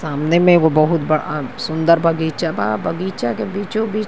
सामने में एगो बहुत बड़ा सुन्दर बगीचा बा। बगीचा के बीचो बीच --